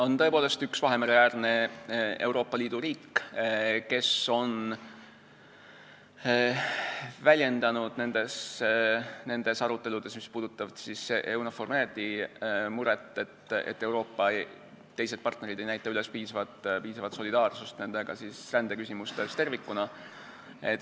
On tõepoolest üks Vahemere-äärne Euroopa Liidu riik, kes on väljendanud nendes aruteludes, mis puudutavad EUNAVFOR MED-i, muret, et partnerid Euroopas ei näita üles nendega piisavat solidaarsust rändeküsimustes tervikuna.